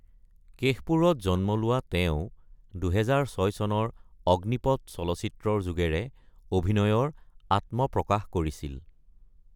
কেশপুৰত জন্ম লোৱা তেওঁ ২০০৬ চনৰ অগ্নিপথ চলচিত্ৰ যোগে অভিনয়ৰ আত্মপ্ৰকাশ কৰিছিল।